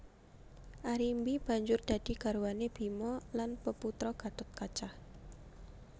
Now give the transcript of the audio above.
Arimbi banjur dadi garwané Bima lan peputra Gathotkaca